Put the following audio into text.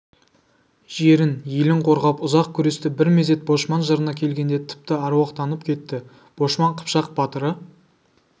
жерін елін қорғап ұзақ күресті бір мезет бошман жырына келгенде тіпті аруақтанып кетті бошман қыпшақ батыры